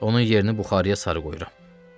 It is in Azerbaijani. Onun yerini buxarıya sarı qoyuram.